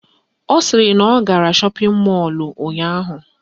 Ọ sịrị na ọ gara shọpịn mọlụ ụnyaahụ